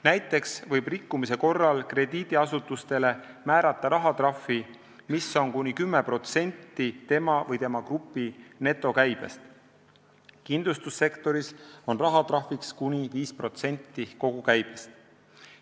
Näiteks võib rikkumise korral krediidiasutusele määrata rahatrahvi, mis on kuni 10% tema või tema grupi netokäibest, kindlustussektoris on rahatrahviks kuni 5% kogukäibest.